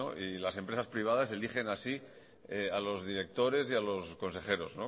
y las empresas privadas así a los directores y a los consejeros